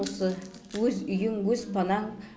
осы өз үйің өз панаң